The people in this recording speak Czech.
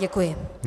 Děkuji.